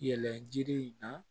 Yɛlɛji in na